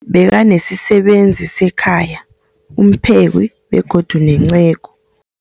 Banesisebenzi sekhaya, umpheki, begodu nenceku.